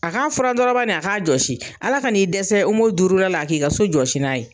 A k'a furan dɔrɔn banni a k'a jɔsi Ala ka n'i dɛsɛ OMO duuru la a k'i ka so jɔsi n'a ye.